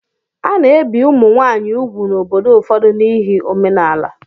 A na-ebi ụmụ nwaanyị úgwù n'obodo ụfọdụ n'ihi omenala.